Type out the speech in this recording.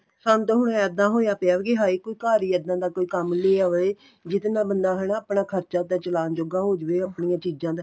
ਸਾਨੂੰ ਤਾਂ ਹੁਣ ਇੱਦਾਂ ਹੋਇਆ ਪਿਆ ਵੀ ਕੀ ਹਾਏ ਕੋਈ ਘਰ ਈ ਇੱਦਾਂ ਦਾ ਕੋਈ ਕੰਮ ਲੈ ਆਵੇ ਜਿਦੇ ਨਾਲ ਬਣਦਾ ਹਨਾ ਆਪਣਾ ਖਰਚਾ ਤਾਂ ਚਲਾਨ ਜੋਗਾ ਹੋ ਜਵੇ ਅਪਣਿਆ ਚੀਜ਼ਾਂ ਦਾ